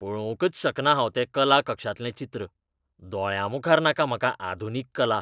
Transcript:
पळोवंकच शकना हांव तें कला कक्षांतलें चित्र, दोळ्यांमुखार नाका म्हाका आधुनीक कला.